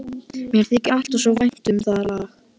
Mér þykir alltaf svo vænt um það lag.